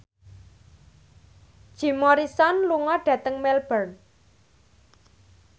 Jim Morrison lunga dhateng Melbourne